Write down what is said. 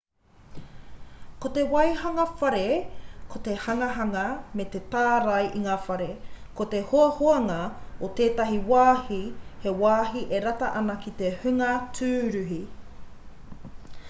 ko te waihanga whare ko te hanganga me te tārai i ngā whare ko te hoahoanga o tētahi wāhi he wāhi e rata ana ki te hunga tūruhi